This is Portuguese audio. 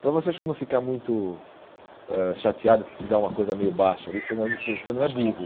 Para você não ficar muito ãh chateado que se dá uma coisa meio baixa ali, você não é muito você não é burro.